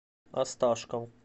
осташков